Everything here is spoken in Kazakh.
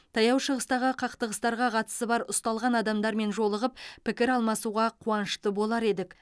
таяу шығыстағы қақтығыстарға қатысы бар ұсталған адамдармен жолығып пікір алмасуға қуанышты болар едік